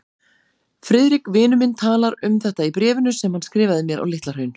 Friðrik, vinur minn, talar um þetta í bréfinu sem hann skrifaði mér á Litla-Hraun.